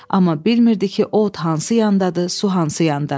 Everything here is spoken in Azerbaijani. Amma bilmirdi ki, o od hansı yandadır, su hansı yanda.